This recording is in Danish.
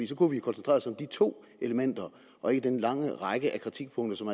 så kunne vi koncentrere os om de to elementer og ikke den lange række af kritikpunkter som